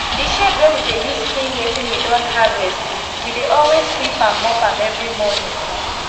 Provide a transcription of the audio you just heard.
d shed wey we dey use clean wetin we don harvest we dey always sweep and mop am everi morning